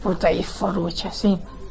Burda İffa-rolo kəsin.